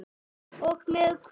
Og með hvað?